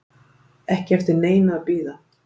Ekki eftir neinu að bíða